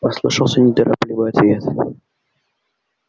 послышался неторопливый ответ